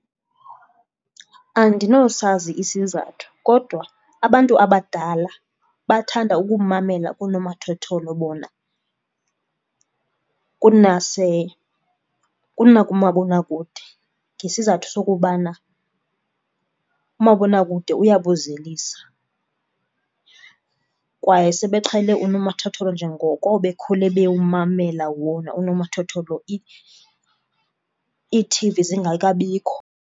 Andinosazi isizathu kodwa abantu abadala bathanda ukumamela koonomathotholo bona kunakumabonakude ngesizathu sokubana umabonakude uyabozelisa kwaye sebeqhele unomathotholo njengoko bekhula bewumamela wona unomathotholo, ii-T_V zingakabikho.